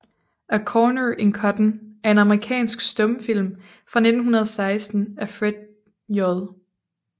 A Corner in Cotton er en amerikansk stumfilm fra 1916 af Fred J